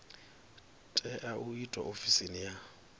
tea u itwa ofisini ya